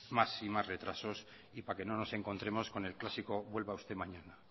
más y más retrasos y para que no nos encontremos con el clásico vuelva usted mañana